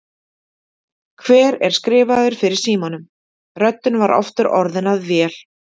Hver er skrifaður fyrir símanum? röddin var aftur orðin að vél.